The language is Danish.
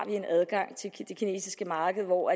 en adgang til det kinesiske marked hvor